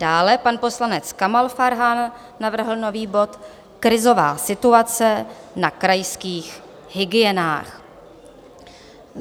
Dále pan poslanec Kamal Farhan navrhl nový bod Krizová situace na krajských hygienách.